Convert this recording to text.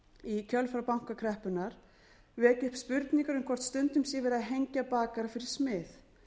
í kjölfar bankakreppunnar vekja upp spurningar um hvort stundum sé verið að hengja bakara fyrir smið